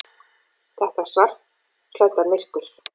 Þetta svartklædda myrkur.